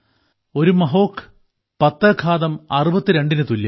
ഒരു മഹോഘ് പത്ത് ഘാതം അറുപത്തിരണ്ടിന് തുല്യം